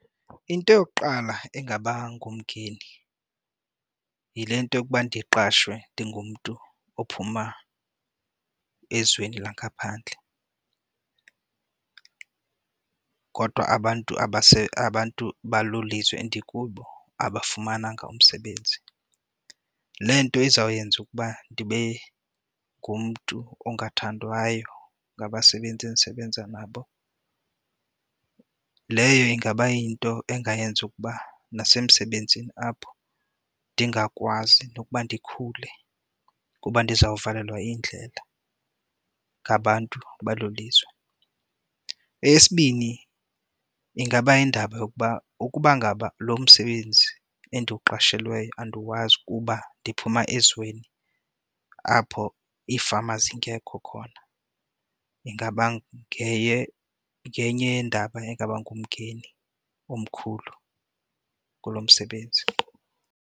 Into yokuqala engaba ngumngeni yile nto yokuba ndiqashwe ndingumntu ophuma ezweni langaphandle kodwa abantu abantu balo lizwe ndikulo abangafumananga umsebenzi. Le nto izawuyenza ukuba ndibe ngumntu ongathandwayo ngabasebenzi endisebenza nabo. Leyo ingaba yinto engayenza ukuba nasemsebenzini apho ndingakwazi nokuba ndikhule kuba ndizawukuvalelwa indlela ngabantu balo lizwe. Eyesibini, ingaba yindaba yokuba ukuba ngaba lo msebenzi endiwuqashelweyo andiwazi kuba ndiphuma ezweni apho iifama zingekho khona ingaba ngenye yeendaba ingaba ngumngeni omkhulu kulo msebenzi.